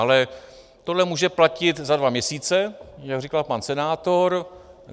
Ale tohle může platit za dva měsíce, jak říkal pan senátor.